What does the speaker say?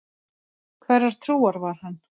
Hverrar trúar var hann?